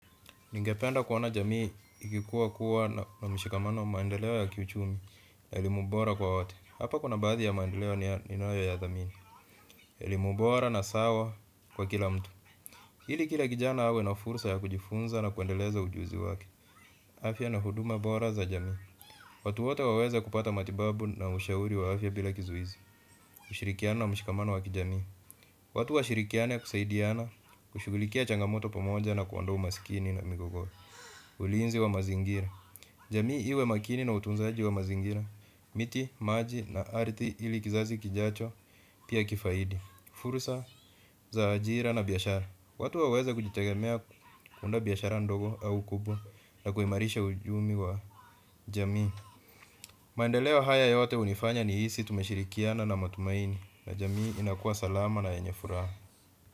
Ningependa kuona jamii ikikua kuwa na mshikamano, maendeleo ya kiuchumi, elimu bora kwa wote, hapa kuna baadhi ya maendeleo ninayoyathamini ilimubora na sawa kwa kila mtu. Ili kila kijana awe na fursa ya kujifunza na kuendeleza ujuzi wake. Afya na huduma bora za jamii. Watu wote waweze kupata matibabu na ushauri wa afya bila kizuizi. Kushirikiana na mshikamano wa kijamii. Watu washirikiane kusaidiana, kushughulikia changamoto pamoja na kuondoa umaskini na migogoro. Ulinzi wa mazingira. Jamii iwe makini na utunzaji wa mazingira miti, maji na ardhi ili kizazi kijacho pia kifaidi. Fursa za ajira na biashara. Watu waweze kujitegemea kuunda biashara ndogo au kubwa na kuimarisha uchumi wa jamii. Maendeleo haya yote hunifanya nihisi tumeshirikiana na matumaini na jamii inakuwa salama na yenye furaha.